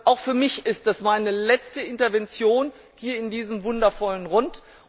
Auch für mich ist dies meine letzte Intervention hier in diesem wundervollen Rund.